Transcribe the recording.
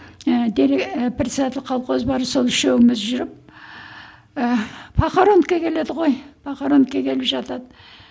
ііі председатель колхоз бар сол үшеуміз жүріп ііі похоронка келеді ғой похоронка келіп жатады